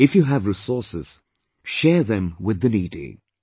If you have resources share them with the needy,